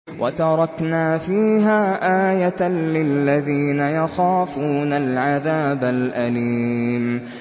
وَتَرَكْنَا فِيهَا آيَةً لِّلَّذِينَ يَخَافُونَ الْعَذَابَ الْأَلِيمَ